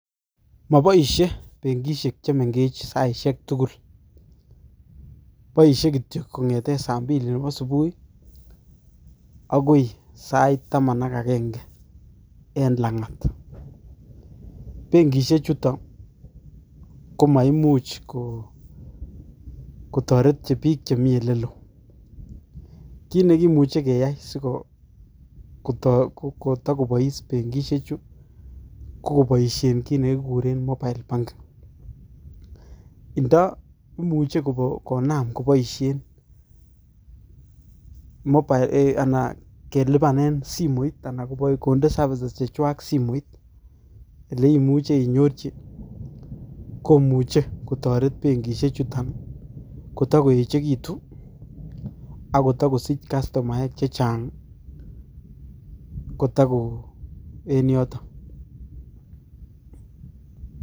Maboishe benkisiek chemengech saisiek tugul. Boisie kityo kongete saa mbili nebo subui agoi sait taman ak agenge en langat benkisiek chutok komaimuch kotoret biik chemitei olelo. Kiit ne kimuchi keai sikotako bois benkisiekchu ko kebaisie kiit ne kikure mobile banking. Ndoimuch konam koboisien kelipanen simoit anan konde services chechwak simoit ole imuche inyorchi komuchi kotoret benkisiek chuton kotako echekitu akotiko sich customaek chechang kotako en yotok.